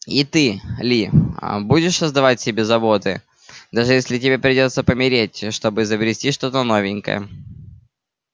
и ты ли аа будешь создавать себе заботы даже если тебе придётся помереть чтобы изобрести что-то новенькое